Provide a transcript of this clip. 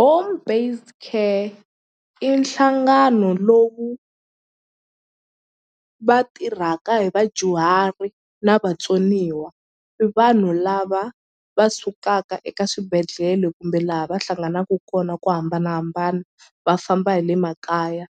Home based care i nhlangano lowu va tirhaka hi vadyuhari na vatsoniwa i vanhu lava va sukaka eka swibedhlele kumbe laha va hlanganaku kona ko hambanahambana va famba hi le makaya